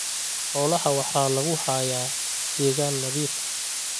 Xoolaha waxaa lagu hayaa deegaan nadiif ah.